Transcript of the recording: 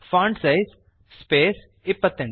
font size space 28